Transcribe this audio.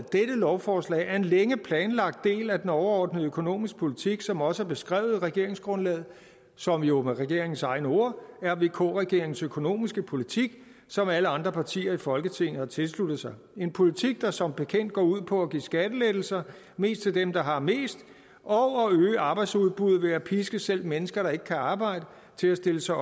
lovforslag er en længe planlagt del af den overordnede økonomiske politik som også er beskrevet i regeringsgrundlaget som jo med regeringens egne ord er vk regeringens økonomiske politik som alle andre partier i folketinget har tilsluttet sig det en politik der som bekendt går ud på at give skattelettelser mest til dem der har mest og at øge arbejdsudbuddet ved at piske selv mennesker der ikke kan arbejde til at stille sig